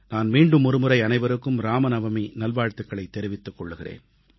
நான் மீண்டும் ஒருமுறை அனைவருக்கும் ராமநவமி நல்வாழ்த்துகளைத் தெரிவித்துக் கொள்கிறேன்